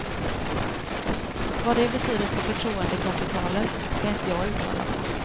Vad det betyder för förtroendekapitalet ska inte jag uttala mig om.